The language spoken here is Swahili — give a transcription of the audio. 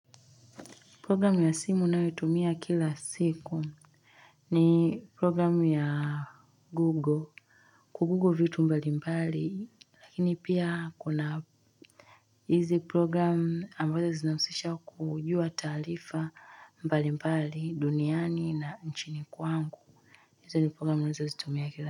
Program ya simu ninayoitumia kila siku ni program ya google, kugugo vitu mbali mbali lakini pia kuna hizi program ambazo zinahusisha kujua taarifa mbali mbali duniani na nchini kwangu hizi program nazitumia kila.